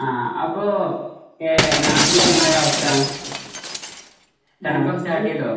ആ അപ്പോ എ നാട്ടിലൊക്കെ എന്താണ് അവസ്ഥ? തണുപ്പ്ഒക്കെ സ്റ്റാർട്ട് ചെയ്തോ?